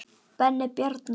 Benni Bjarna.